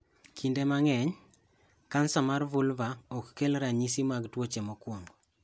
Kinde mang'eny, kansa mar vulva ok kel ranyisi mag tuoche mokwongo.